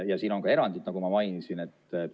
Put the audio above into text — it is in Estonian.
Ja siin on ka erandid, nagu ma mainisin.